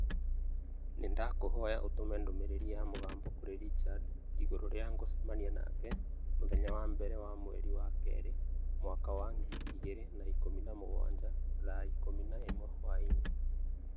Nĩndakũhoya ũtũme ndũmĩrĩri ya mũgambo kũrĩ Richard igũrũ rĩa ngũcemania nake mũthenya wa mbere wa mweri wa kerĩ mwaka wa ngiri igĩrĩ na ikũmi na mũgwanja thaa ikũmi na ĩmwe hwaĩinĩ